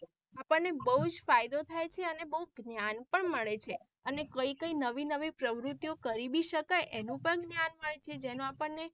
આપણ ને બહુજ ફાયદો થાય છે અને બૌ જ્ઞાન પણ મળે છે અને કઈ કઈ નવી નવી પ્રવૃતિઓ કરી બી શકાય એનું પણ જ્ઞાન મળશે જેનું આપણ ને.